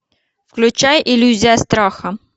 включай иллюзия страха